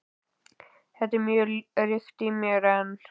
Þetta er mjög ríkt í mér enn.